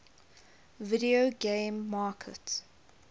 video game market